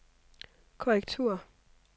korrektur